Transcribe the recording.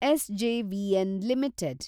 SJVN limited